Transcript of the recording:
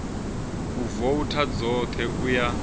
u vouta dzoṱhe u ya